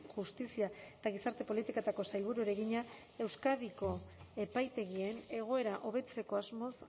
justizia eta gizarte politiketako sailburuari egina euskadiko epaitegien egoera hobetzeko asmoz